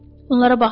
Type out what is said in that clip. Onlara baxma.